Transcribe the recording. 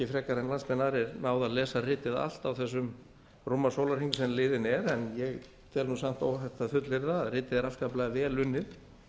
frekar en margir aðrir náð að lesa ritið allt á þessum rúma sólarhring sem liðinn er en ég tel samt óhætt að fullyrða að ritið er afskaplega vel unnið